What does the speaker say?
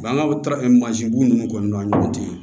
Bangan mansin bu ninnu ninnu kɔni an ni ɲɔgɔn cɛ